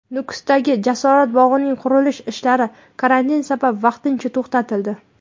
Nukusdagi Jasorat bog‘ining qurilish ishlari karantin sabab vaqtincha to‘xtatildi.